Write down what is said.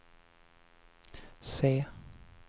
se